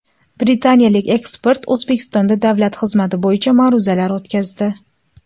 Britaniyalik ekspert O‘zbekistonda davlat xizmati bo‘yicha ma’ruzalar o‘tkazdi.